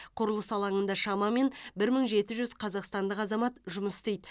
құрылыс алаңында шамамен бір мың жеті жүз қазақстандық азамат жұмыс істейді